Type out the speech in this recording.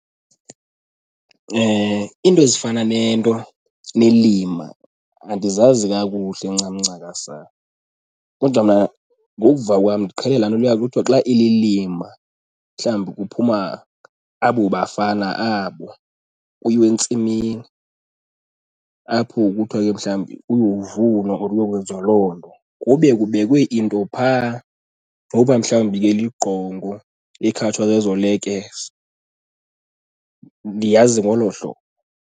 Iinto ezifana nento nelima andizazi kakuhle ncam ncakasana kodwa mna ngokuva kwam ndiqhele laa nto kuya kuthiwa xa ililima. Mhlawumbi kuphuma abo bafana abo kuyiwe entsimini apho kuthiwa ke mhlawumbi kuyovunwa or kuyokwenziwa loo nto kube kubekwe into phaa noba mhlawumbi ke ligqongo ekhatshwa zezo lekese. Ndiyazi ngolo hlobo.